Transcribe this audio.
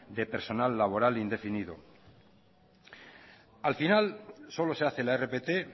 de personal laboral indefinido al final solo se hace la rpt